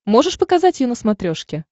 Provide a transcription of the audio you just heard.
можешь показать ю на смотрешке